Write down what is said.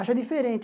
Acham diferente.